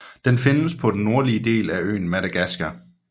Den findes på den nordlige del af øen Madagaskar